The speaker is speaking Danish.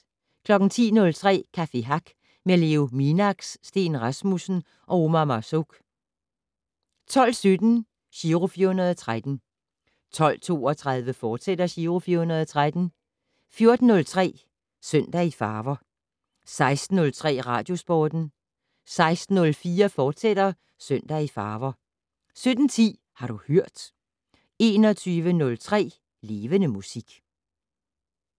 10:03: Café Hack med Leo Minax, Steen Rasmussen og Omar Marzouk 12:17: Giro 413 12:32: Giro 413, fortsat 14:03: Søndag i farver 16:03: Radiosporten 16:04: Søndag i farver, fortsat 17:10: Har du hørt 21:03: Levende Musik